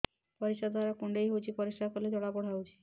ପରିଶ୍ରା ଦ୍ୱାର କୁଣ୍ଡେଇ ହେଉଚି ପରିଶ୍ରା କଲେ ଜଳାପୋଡା ହେଉଛି